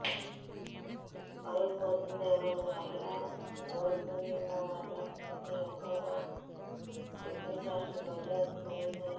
పరువు పోతుందేమోనని మహిళ ఊరుకునన్నప్పటికీ యువకుడిలో వెకిలిచేష్టలు రోజురోజుకి పెరిగిపోయాయి